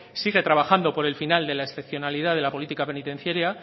sigue trabajando por el final de la excepcionalidad de la política penitenciaria